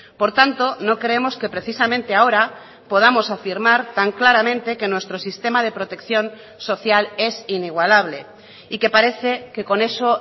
por tanto no creemos que precisamente ahora podamos afirmar tan claramente que nuestro sistema de protección social es inigualable y que parece que con eso